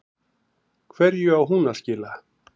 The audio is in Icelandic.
Hverju á hún að skila?